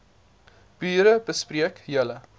bure bespreek julle